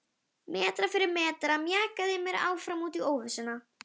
Langar að vera með þeim á öðrum stað.